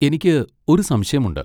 എനിക്ക് ഒരു സംശയമുണ്ട്.